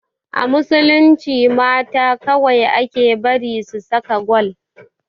A musulunci mata kawai ake bari su saka gwal